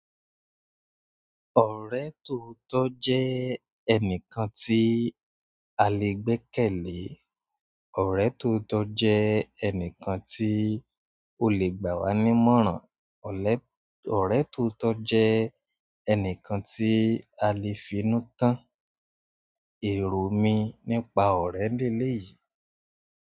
Ọ̀rẹ́ tóotọ́ jẹ́ ẹnìkan tí a lè gbẹ́kẹ̀lé. Ọ̀rẹ́ tó tọ́ jẹ́ ẹnìkan tí o lè gbà wá nímọ̀ràn. Ọ̀rẹ́ tóotọ́ jẹ́ ẹnìkan tí a lè finú tán. Erò mi nípa ọ̀rẹ́ leléyìí.